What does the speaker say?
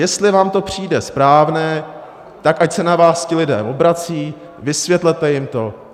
Jestli vám to přijde správné, tak ať se na vás ti lidé obracejí, vysvětlete jim to.